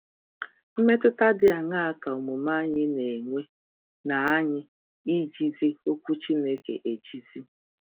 Mmetụta dị aṅaa ka omume anyị na-enwe n’anyị ijizi Okwu Chineke ejizi?